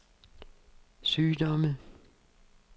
sygdomme